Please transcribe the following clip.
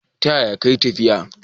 Ta yaya kayi tafiya?